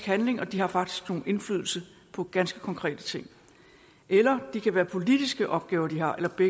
handling og de har faktisk indflydelse på ganske konkrete ting eller det kan være politiske opgaver de har eller det